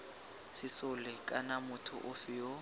sesole kana motho ofe yo